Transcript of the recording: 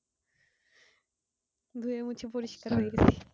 ধুয়ে মুছে পরিষ্কার হয়ে গেছি।